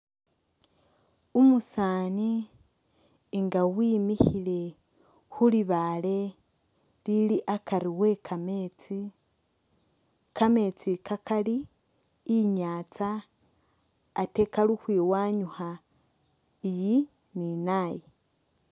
Umusaani nga wimikhile khulibaale lili akari wekameetsi kameetsi i'ka kali inyantsa ate kali ukhwiwanyukha eyi ni nayi